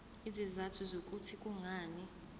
izizathu zokuthi kungani